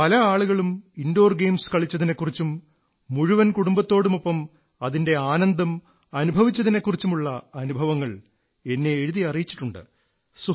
പല ആളുകളും indoor games കളിച്ചതിനെക്കുറിച്ചും മുഴുവൻ കുടുംബത്തോടുമൊപ്പം അതിന്റെ ആനന്ദം അനുഭവിച്ചതിനെക്കുറിച്ചുമുള്ള അനുഭവങ്ങൾ എന്നെ എഴുതി അറിയിച്ചിട്ടുണ്ട്